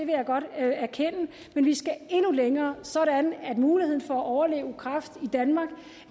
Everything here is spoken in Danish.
jeg godt erkende men vi skal nå endnu længere sådan at muligheden for at overleve kræft i danmark